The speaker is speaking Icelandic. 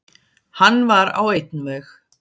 Hann var á einn veg.